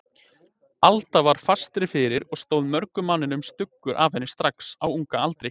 Alda var fastari fyrir og stóð mörgum manninum stuggur af henni strax á unga aldri.